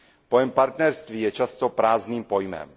Pojem partnerství je často prázdným pojmem.